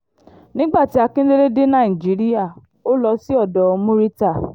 nígbà tí akindélé dé nàìjíríà ó lọ sí odò murità